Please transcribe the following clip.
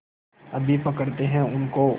अभी पकड़ते हैं उनको